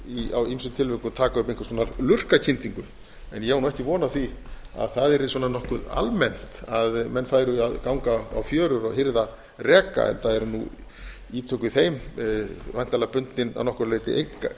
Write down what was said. mætti á ýmsum tilvikum taka upp einhvers konar lurkakyndingu ég á nú ekki von á því að það yrði nokkuð almennt að menn færu að ganga á fjörur og hirða reka enda eru nú ítök í þeim væntanlega bundin að nokkru leyti